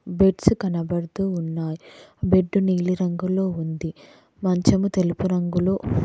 beds కనబడుతూ ఉన్నాయ్ bed నీలి రంగులో ఉంది మంచము తెలుపు రంగులో--